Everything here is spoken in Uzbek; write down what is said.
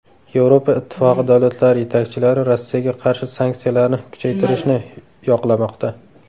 Yevropa Ittifoqi davlatlari yetakchilari Rossiyaga qarshi sanksiyalarni kuchaytirishni yoqlamoqda.